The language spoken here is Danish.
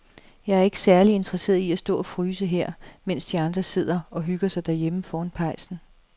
Jeg er ikke særlig interesseret i at stå og fryse her, mens de andre sidder og hygger sig derhjemme foran pejsen.